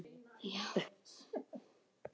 Þegar fyrri flaskan var tóm sagði Stjáni